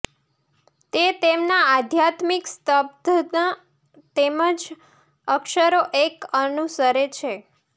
તે તેમના આધ્યાત્મિક સ્તબ્ધતા તેમના અક્ષરો એક અનુસરે છે